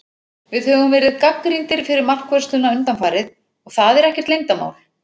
Við höfum verið gagnrýndir fyrir markvörsluna undanfarið, og það er ekkert leyndarmál.